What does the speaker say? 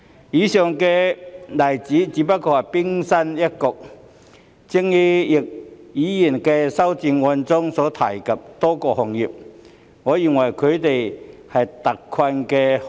以上的例子只是冰山一角，就如易議員的修正案中所提及的多個行業，我認為他們也屬於特困行業。